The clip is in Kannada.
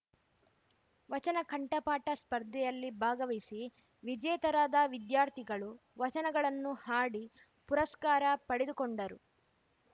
ವಚನ ಕಂಠಪಾಠ ಸ್ಪರ್ಧೆಯಲ್ಲಿ ಭಾಗವಸಿ ವಿಜೇತರಾದ ದ್ಯಾರ್ಥಿಗಳು ವಚನಗಳನ್ನು ಹಾಡಿ ಪುರಸ್ಕಾರ ಪಡೆದುಕೊಂಡರು